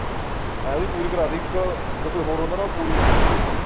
ਮੈਂ ਵੀ ਪੂਰੀ ਕਰਾ ਤੀ ਇਕ ਜੇ ਕੋਈ ਹੋਰ ਹੁੰਦਾ ਨਾ ਉਹ ਪੂਰੀ ਨਹੀਂ ਹੁੰਦੀ ਸੀ ਓਹਦੀ